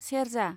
सेरजा